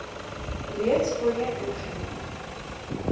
reeds voorheen ingedien